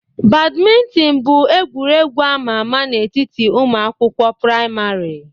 Badminton bụ egwuregwu ama ama n'etiti ụmụ akwụkwọ praịmarị.